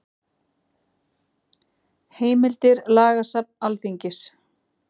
Heimildir Lagasafn Alþingis.